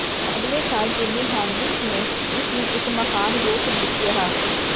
ਅਗਲੇ ਸਾਲ Jimi Hendrix ਨੇ ਇਸ ਨੂੰ ਇਕ ਮਹਾਨ ਰੌਕ ਗੀਤ ਕਿਹਾ